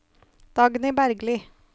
Dagny Bergli